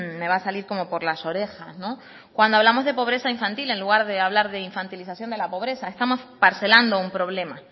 me va a salir como por las orejas cuando hablamos de pobreza infantil en lugar de hablar de infantilización de la pobreza estamos parcelando un problema